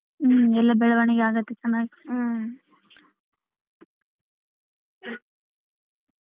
ಹ್ಮ್ ಎಲ್ಲ ಬೆಳವಣಿಗೆ ಆಗತೆತನ ಹ್ಮ್ .